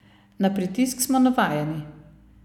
Na pritisk smo navajeni.